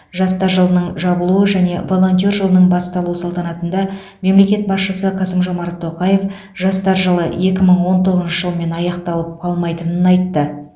жастар жылының жабылу және волонтер жылының басталу салтанатында мемлекет басшысы қасым жомарт тоқаев жастар жылы екі мың олн тоғызыншы жылмен аяқталып қалмайтынын айтты